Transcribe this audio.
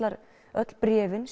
öll bréfin